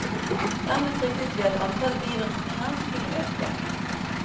Dermed fryktet vi at antallet bivirkninger kunne øke.